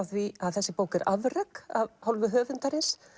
því að þessi bók er afrek af hálfu höfundarins